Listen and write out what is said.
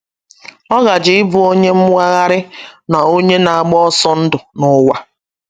Ọ gaje ịbụ onye mwagharị na onye na - agba ọsọ ndụ n’ụwa.